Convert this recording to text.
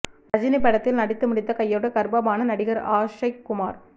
ரஜினி படத்தில் நடித்து முடித்த கையோடு கர்ப்பமான நடிகர் ஆக்ஷய் குமார்